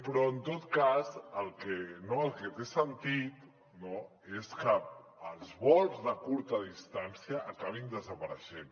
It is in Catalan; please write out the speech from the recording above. però en tot cas el que té sentit és que els vols de curta distància acabin desapareixent